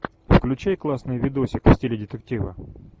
включай классный видосик в стиле детектива